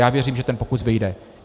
Já věřím, že ten pokus vyjde.